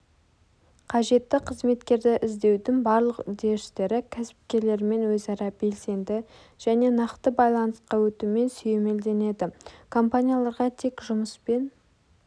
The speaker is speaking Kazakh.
қажетті қызметкерді іздеудің барлық үдерістері кәсіпкерлермен өзара белсенді және нақты байланысқа өтумен сүйемелденеді компанияларға тек жұмыспен